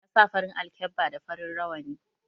Ya sa farin alkkeba da farin rawani